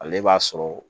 Ale b'a sɔrɔ